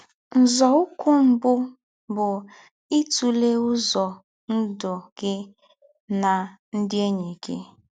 Nzòụ́kwụ́ mbù bụ́ ítụ̀lẹ́ ứzọ̀ ndụ́ gị̀ nà nkē ndí́ ènyị́ gị̀.